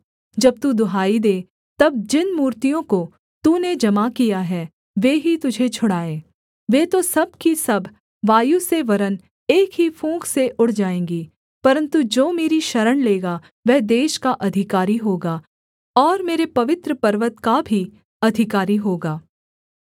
जब तू दुहाई दे तब जिन मूर्तियों को तूने जमा किया है वे ही तुझे छुड़ाएँ वे तो सब की सब वायु से वरन् एक ही फूँक से उड़ जाएँगी परन्तु जो मेरी शरण लेगा वह देश का अधिकारी होगा और मेरे पवित्र पर्वत का भी अधिकारी होगा